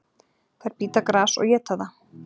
Þær bíta gras og éta það.